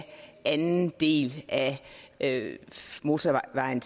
anden del af af motorvejen